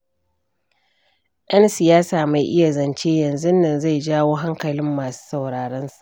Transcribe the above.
Ɗan siyasa mai iya zance, yanzunnan zai jawo hankali masu sauraronsa.